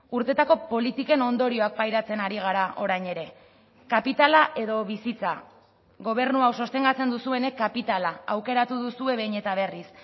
urteetako politiken ondorioak pairatzen ari gara orain ere kapitala edo bizitza gobernu hau sostengatzen duzuenek kapitala aukeratu duzue behin eta berriz